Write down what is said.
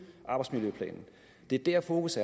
arbejdsmiljøplanen det er der fokus